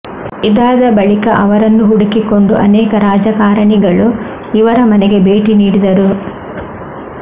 ಇದಾದ ಬಳಿಕ ಅವರನ್ನು ಹುಡುಕಿಕೊಂಡು ಅನೇಕ ರಾಜಕಾರಣಿಗಳು ಇವರ ಮನೆಗೆ ಭೇಟಿ ನೀಡಿದರು